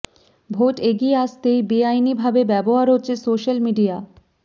vote এগিয়ে আসতেই বেআইনি ভাবে ব্যবহার হচ্ছে সোশ্যাল মিডিয়া